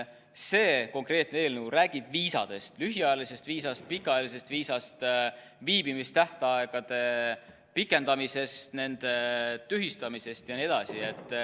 See konkreetne eelnõu räägib viisadest: lühiajalisest viisast, pikaajalisest viisast, viibimise tähtaegade pikendamisest, nende tühistamisest jne.